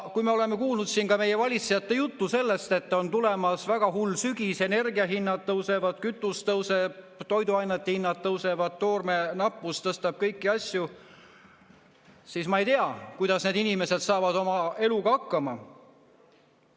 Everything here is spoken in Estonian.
Kui me oleme kuulnud siin meie valitsejate juttu sellest, et on tulemas väga hull sügis, energiahinnad tõusevad, kütus tõuseb, toiduainete hinnad tõusevad, toorme nappus tõstab kõiki asju, siis ma ei tea, kuidas need inimesed saavad oma eluga hakkama.